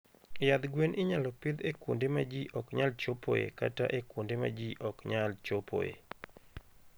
Yadh gwen inyalo pidh e kuonde ma ji ok nyal chopoe kata e kuonde ma ji ok nyal chopoe.